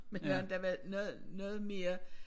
Med nogle der var noget noget mere